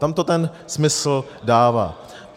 Tam to ten smysl dává.